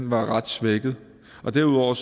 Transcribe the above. var ret svækket derudover